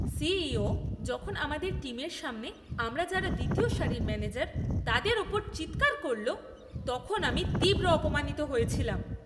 CEO যখন আমাদের টিমের সামনে আমরা যারা দ্বিতীয় সারির ম্যানেজার তাদের ওপর চিৎকার করল, তখন আমি তীব্র অপমানিত হয়েছিলাম!